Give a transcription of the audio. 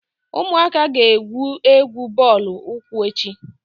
Ụmụaka ga- egwú egwu bọọlụ ụkwụ echi.